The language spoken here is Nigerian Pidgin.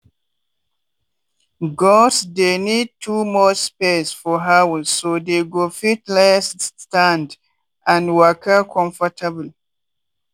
goats dey need too much space for house so dey go fit lie stand and waka comfortable.